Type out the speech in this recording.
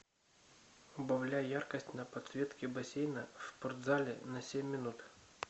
убавляй яркость на подсветке бассейна в спортзале на семь минут